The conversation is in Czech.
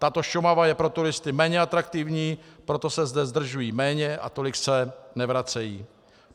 Tato Šumava je pro turisty méně atraktivní, proto se zde zdržují méně a tolik se nevracejí.